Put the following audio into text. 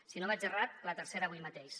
si no vaig errat la tercera avui mateix